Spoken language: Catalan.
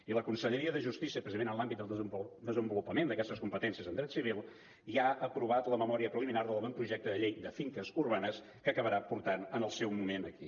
i la conselleria de justícia precisament en l’àmbit del desenvolupament d’aquestes competències en dret civil ja ha aprovat la memòria preliminar de l’avantprojecte de llei de finques urbanes que acabarà portant en el seu moment aquí